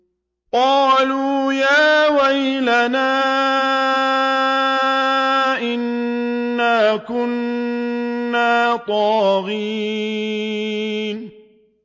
قَالُوا يَا وَيْلَنَا إِنَّا كُنَّا طَاغِينَ